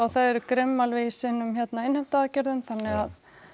eru grimm alveg í sínum innheimtuaðgerðum þannig að